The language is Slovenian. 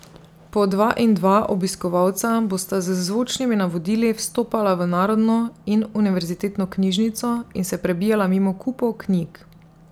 Po dva in dva obiskovalca bosta z zvočnimi navodili vstopala v Narodno in univerzitetno knjižnico in se prebijala mimo kupov knjig.